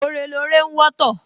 Ore lore ń wọ́tọ̀